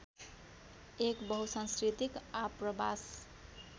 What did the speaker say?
एक बहुसांस्कृतिक आप्रवास